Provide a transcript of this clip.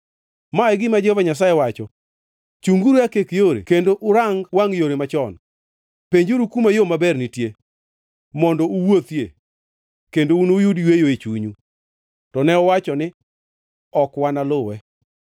Ma e gima Jehova Nyasaye wacho: “Chunguru e akek yore kendo urang wangʼ yore machon; penjuru kuma yo maber nitie, mondo uwuothie, kendo unuyud yweyo e chunyu. To ne uwacho ni, ‘Ok wanaluwe.’